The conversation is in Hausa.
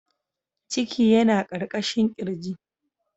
Ciki yana ƙarƙashin ƙirji.